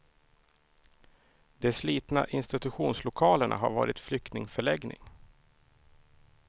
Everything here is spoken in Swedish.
De slitna institutionslokalerna har varit flyktingförläggning.